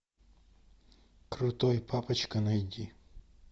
крутой папочка найди